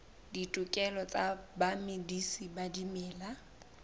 ditokelo tsa bamedisi ba dimela